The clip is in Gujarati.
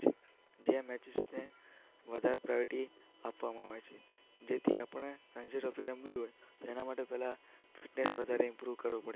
જે આ મેચિસને વધારે પ્રાયોરિટી આપવામાં આવે છે, જેથી આપણે રણજી ટ્રોફી રમવી હોય એના માટે પહેલાં ફિટનેસ વધારે ઈમ્પ્રૂવ કરવી પડે છે.